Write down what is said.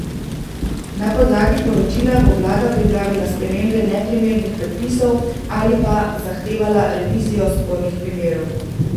Na podlagi poročila bo vlada pripravila spremembe neprimernih predpisov ali pa zahtevala revizijo spornih primerov.